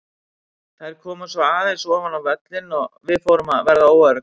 Þær komu svo aðeins ofar á völlinn og við fórum að verða óöruggar.